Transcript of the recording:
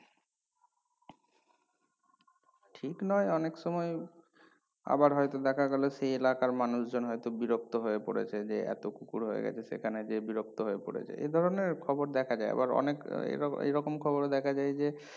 ঠিক নয় অনেক সময় আবার হয়তো দেখা গেলো সেই এলাকার মানুষজন হয়তো বিরক্ত হয়ে পড়েছে যে এত কুকুর হয়ে গেছে সেখানে যে বিরক্ত হয়ে পড়েছে এধরণের খবর দেখা যায় আবার অনেক এর এরকম খবর ও দেখা যায় যে